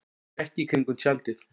Hann gekk í kringum tjaldið.